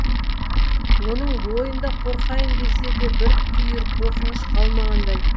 оның бойында қорқайын десе де бір түйір қорқыныш қалмағандай